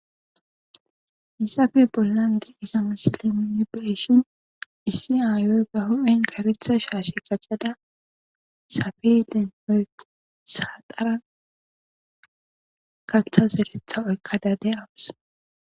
Haysape bollan diza misileza nu be'ishin, issi aaya karetha shaashe qacada, safeeten kaththa zeretha oykashe dawus.